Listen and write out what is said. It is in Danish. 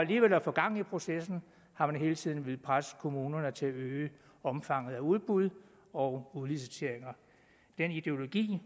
alligevel at få gang i processen har man hele tiden villet presse kommunerne til at øge omfanget af udbud og udlicitering den ideologi